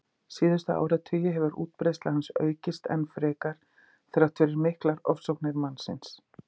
Síðustu áratugi hefur útbreiðsla hans aukist enn frekar þrátt fyrir miklar ofsóknir mannsins.